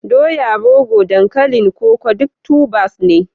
doya, rogo, dankalin koko duk tubers ne